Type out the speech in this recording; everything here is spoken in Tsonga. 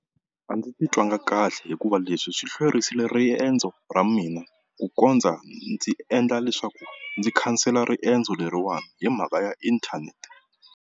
A ndzi titwangi kahle hikuva leswi swi hlwerisile riendzo ra mina ku kondza ndzi endla leswaku ndzi khansela riendzo leriwani hi mhaka ya inthanete.